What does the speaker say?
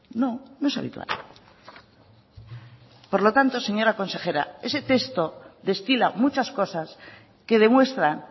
no no es habitual por lo tanto señora consejera ese texto destila muchas cosas que demuestran